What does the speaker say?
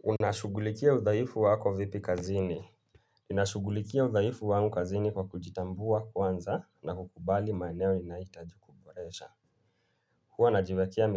Unashugulikia uthaifu wako vipi kazini. Unashugulikia uthaifu wangu kazini kwa kujitambua kwanza na kukubali maeneo inaitajikuboresha. Hwa najiwekia